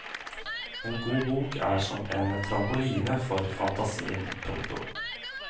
En god bok er som en trampoline for fantasien. punktum